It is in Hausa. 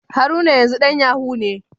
Haruna yanzu dan Yahoo ne.